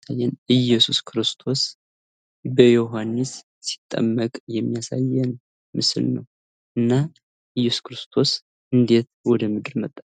እየሱስ ክርስቶስ በይኃኒስ ሲጠመቅ የሚያሳይ ምስል ነው ::እና እየሱስ ክርስቶስ እንዴት ወደ ምድር መጣ?